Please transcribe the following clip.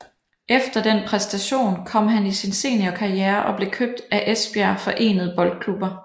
Efter den præstation kom han i sin seniorkarriere og blev købt af Esbjerg forenede Boldklubber